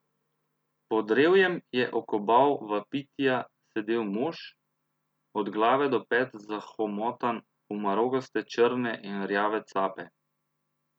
Pod drevjem je okobal vapitija sedel mož, od glave do pet zahomotan v marogaste črne in rjave cape.